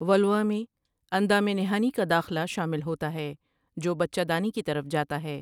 ولوا میں اندام نہانی کا داخلہ شامل ہوتا ہے جو بچہ دانی کی طرف جاتا ہے ۔